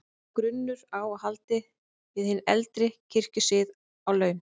Lá grunur á að hann héldi við hinn eldri kirkjusið á laun.